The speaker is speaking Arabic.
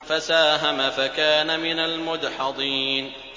فَسَاهَمَ فَكَانَ مِنَ الْمُدْحَضِينَ